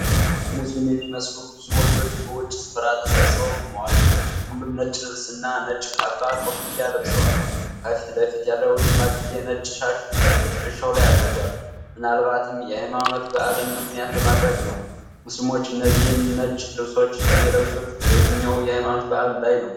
ሙስሊም የሚመስሉ ብዙ ወንዶች በውጪ ስፍራ ተሰብስበው ቆመዋል። ሁሉም ነጭ ልብስ እና ነጭ ካባ ኮፍያ ለብሰዋል። ከፊት ለፊት ያለውሽማግሌ ነጭሻሽ በትከሻው ላይ አድርጓል። ምናልባትም የሃይማኖት በዓልን ምክንያት በማድረግ ነው። ሙስሊሞች እነዚህን ነጭ ልብሶች የሚለብሱት በየትኛው የሃይማኖት በዓል ላይ ነው?